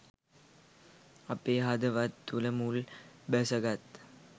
අපේ හදවත් තුළ මුල් බැස ගත්